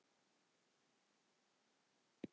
Krydd: Uppruni, saga og notkun.